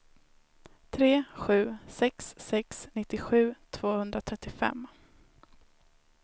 tre sju sex sex nittiosju tvåhundratrettiofem